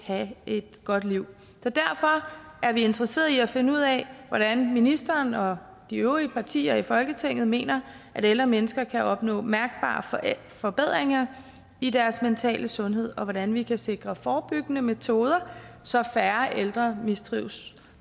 have et godt liv så derfor er vi interesseret i at finde ud af hvordan ministeren og de øvrige partier i folketinget mener at ældre mennesker kan opnå mærkbare forbedringer i deres mentale sundhed og hvordan vi kan sikre forebyggende metoder så færre ældre mistrives